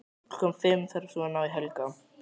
Klukkan fimm þarf svo að ná í Helga.